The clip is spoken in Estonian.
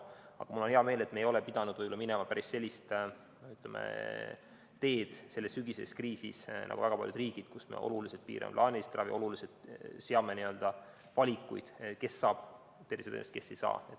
Aga mul on hea meel, et me ei ole pidanud minema päris sellist teed selles sügiseses kriisis nagu väga paljud riigid, kus oluliselt piiratakse plaanilist ravi, seatakse valikuid, kes saab tervishoiuteenust, kes ei saa.